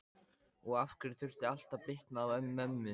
Og af hverju þurfti allt að bitna á mömmu?